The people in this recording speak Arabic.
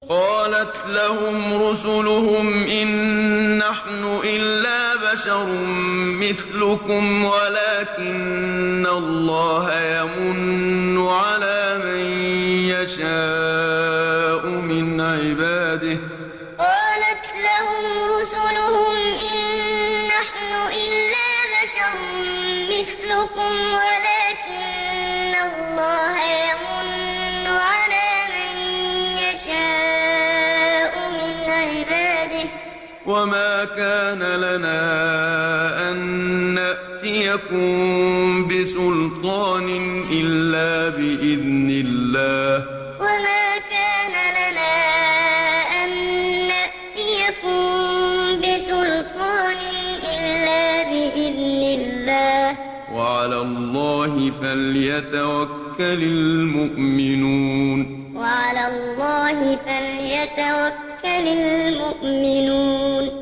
قَالَتْ لَهُمْ رُسُلُهُمْ إِن نَّحْنُ إِلَّا بَشَرٌ مِّثْلُكُمْ وَلَٰكِنَّ اللَّهَ يَمُنُّ عَلَىٰ مَن يَشَاءُ مِنْ عِبَادِهِ ۖ وَمَا كَانَ لَنَا أَن نَّأْتِيَكُم بِسُلْطَانٍ إِلَّا بِإِذْنِ اللَّهِ ۚ وَعَلَى اللَّهِ فَلْيَتَوَكَّلِ الْمُؤْمِنُونَ قَالَتْ لَهُمْ رُسُلُهُمْ إِن نَّحْنُ إِلَّا بَشَرٌ مِّثْلُكُمْ وَلَٰكِنَّ اللَّهَ يَمُنُّ عَلَىٰ مَن يَشَاءُ مِنْ عِبَادِهِ ۖ وَمَا كَانَ لَنَا أَن نَّأْتِيَكُم بِسُلْطَانٍ إِلَّا بِإِذْنِ اللَّهِ ۚ وَعَلَى اللَّهِ فَلْيَتَوَكَّلِ الْمُؤْمِنُونَ